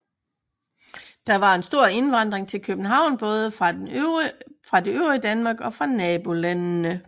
Der var en stor indvandring til København både fra det øvrige Danmark og fra nabolandene